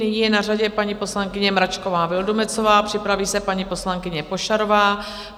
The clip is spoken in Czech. Nyní je na řadě paní poslankyně Mračková Vildumetzová, připraví se paní poslankyně Pošarová.